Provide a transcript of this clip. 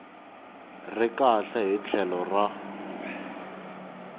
ri kahle hi tlhelo ra